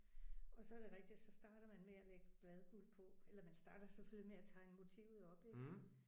Og så er det rigtigt at så starter man med at lægge bladguld på eller man starter selvfølgelig med at tegne motivet op ik